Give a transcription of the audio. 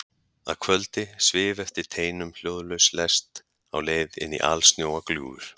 Að kvöldi svif eftir teinum hljóðlaus lest á leið inní alsnjóa gljúfur.